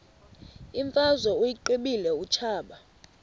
imfazwe uyiqibile utshaba